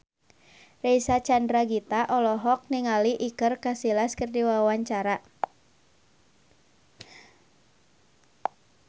Reysa Chandragitta olohok ningali Iker Casillas keur diwawancara